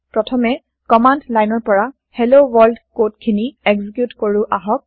প্ৰথমে কমান্দ লাইনৰ পৰা হেল্ল ৱৰ্ল্ড কড খিনি এক্সিকিউত কৰো আহক